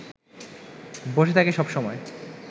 বসে থাকে সব সময়